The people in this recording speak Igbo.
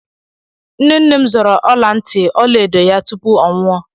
Nne nne m zoro ọla ntị ọla edo ya tupu ọ nwụọ.